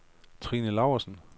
Trine Lausen